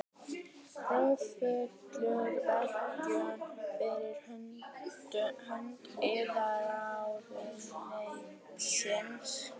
Kröfluvirkjun fyrir hönd iðnaðarráðuneytisins.